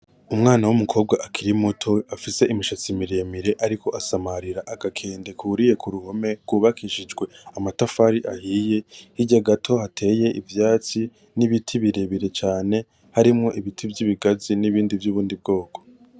Umwana w'Umukobwa akiri muto afise imishatsi miremire ariko asamarira agakende kuriye k'uruhome rwubakishijwe amatafari ahiye, hateye ivyatsi n'Ibiti birebire cane harimwo Ibiti vy'ibigazi n'ibindi vy'ubundi bwoko.